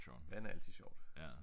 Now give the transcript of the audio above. Vand er altid sjovt